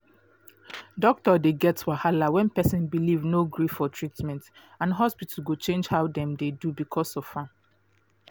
doctor dey get wahala when person belief no gree for treatment and hospital go change how dem dey do because of am